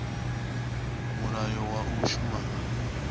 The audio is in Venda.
mulayo wa u shuma nga